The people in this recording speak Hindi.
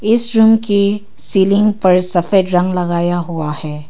इस रूम की सीलिंग पर सफेद रंग लगाया हुआ है।